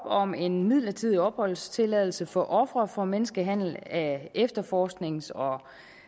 om en midlertidig opholdstilladelse for ofre for menneskehandel af efterforsknings og